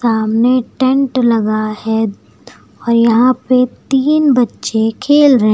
सामने टेंट लगा है और यहां पे तीन बच्चे खेल रहे--